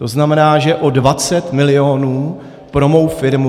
To znamená, že o 20 milionů pro mou firmu.